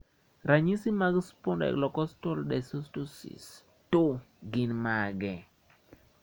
Ranyisi mag Spondylocostal dysostosis 2 gin mage?